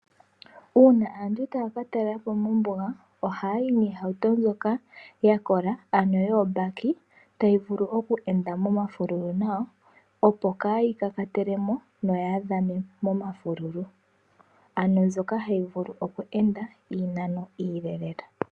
Uuna aantu taya ka talela po mombuga ohaya yi niihauto mbyoka ya kola, ano yoobaki tayi vulu oku enda momafululu nawa, opo kaayi kakatele mo yo yaa dhame momafululu, ano mbyoka hayi vulu oku enda iinano iile lela.